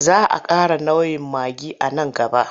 Za a ƙara nau'in maggi a nan gaba.